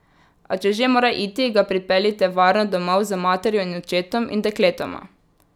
A če že mora iti, ga pripeljite varno domov z materjo in očetom in dekletoma.